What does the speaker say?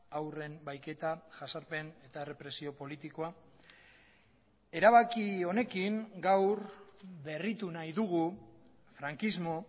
haurren bahiketa jasarpen eta errepresio politikoa erabaki honekin gaur berritu nahi dugu frankismo